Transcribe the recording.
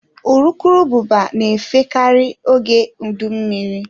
Urukurubụba na-efe karị oge udu mmiri.